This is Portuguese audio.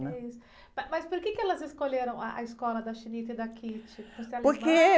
Mas por que elas escolheram ah, a escola da e da? Por ser alemã?orque...